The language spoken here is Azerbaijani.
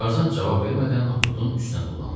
Tarzan cavab vermədən Akutun üstünə tullandı.